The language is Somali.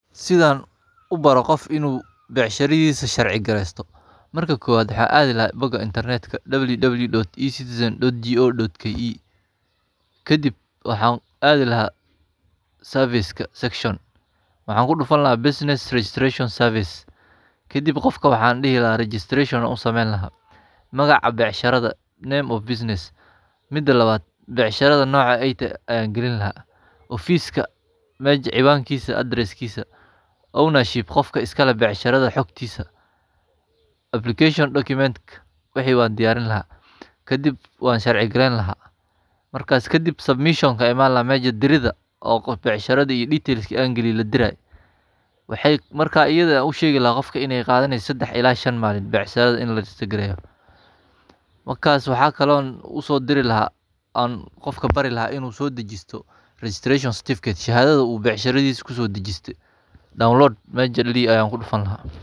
Sidan ubaro qof inu becshiradisa sharci gareyto marka kowad wxa Adiilaha boga Internetka www.ecitizen.go.ke kadip waxan adihi laha serveska section wxan kudufan laha business registration servese kadip qofka wxan dihi laha registration an u samen laha nagaca becshirada name of business, mida lawad becshirada noca aytehe an galin laha ofiska mesha ciwanka adrisskisa ownership qofka iskaleh becshirada hugtisa application document wxi wan kudiyarin laha kadip wan sharci garenlaha ,markas kadip submition ka iman laha meshi dirida iyo becshida iyo dadki an galiye ladiray wxay marka u shegi laha qofka inay qadaneyso sexad ila shan malin bacshirada inla rejestagareyo ,wakas wxa kale o uso diri laha an qofka barilaha inudajisto regeneration certificate shahadad u becshiradisa kuso dajiste download mesha ladihi ayan kudufan laha.